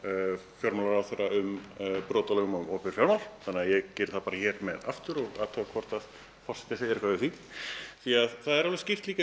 fjármálaráðherra um brot á lögum um opinber fjármál þannig að ég geri það þá bara hér með aftur og athuga hvort forseti segir eitthvað við því því það er alveg skýrt í